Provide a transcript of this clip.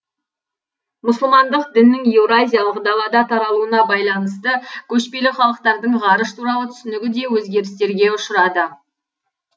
мұсылмандық діннің еуроазиялық далада таралуына байланысты көшпелі халықтардың ғарыш туралы түсінігі де өзгерістірге ұшырады